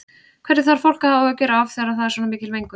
Hverju þarf fólk að hafa áhyggjur af þegar það er svona mikil mengun?